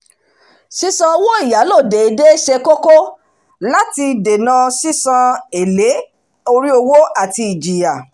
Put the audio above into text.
sísan owó ìyálò déédé ṣe kóko láti lè dèná sísan èlé orí owó àti ìjìyà